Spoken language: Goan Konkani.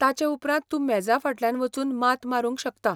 ताचें उपरांत तूं मेजा फाटल्यान वचून मात मारूंक शकता.